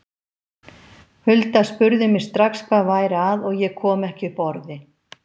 Hulda spurði mig strax hvað væri að og ég kom ekki upp orði.